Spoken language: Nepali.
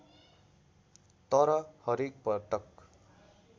तर हरेक पटक